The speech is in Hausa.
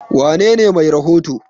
wanene Mai rahoto?